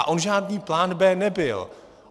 A on žádný plán B nebyl.